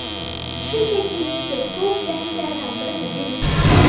Shunchaki menga top jangchilardan birini bering.